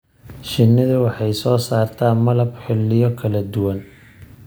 Shinnidu waxay soo saartaa malab xilliyo kala duwan.